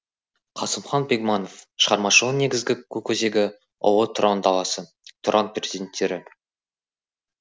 қасымхан бегманов шығармашығының негізгі көкөзегі ұлы тұран даласы тұран перзенттері